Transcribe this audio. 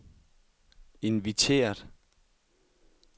inviteret